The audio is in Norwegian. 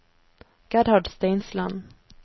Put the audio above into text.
Gerhard Steinsland